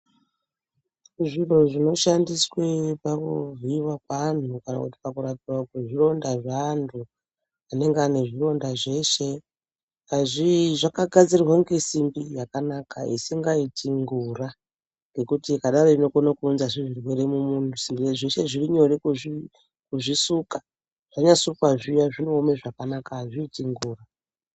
Zviro zvinoshandiswa pakuvhiiwa kwevanhu kana pakurapiwa kwezvironda zveanhu anenge ane zvironda zveshe. Zvakagadzirwa ngesimbi yakanaka isingaiti ngura ngekuti ikadari inokonazve kuunza zvimweni zvirwere mumunhu. Veshe zvirinyore zvanyasukwa zviya zvinooma zvakanaka. Azviiti ngura.